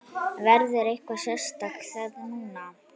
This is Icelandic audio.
Verður eitthvað sérstakt þá núna?